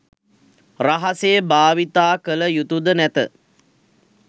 රහසේ භාවිතා කළ යුතුද නැත.